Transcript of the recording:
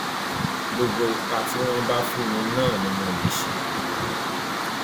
gbogbo ipa tí wọn bá fún mi náà ni mo lè ṣe